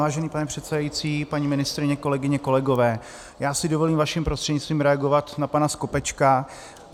Vážený pane předsedající, paní ministryně, kolegyně, kolegové, já si dovolím vaším prostřednictvím reagovat na pana Skopečka.